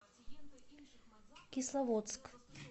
кисловодск